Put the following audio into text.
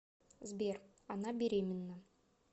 сбер она беременна